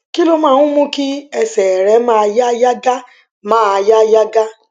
kí ló máa ń mú kí ẹsè rẹ máa yá gágá máa yá gágá